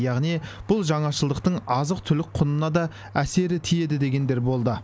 яғни бұл жаңашылдықтың азық түлік құнына да әсері тиеді дегендер болды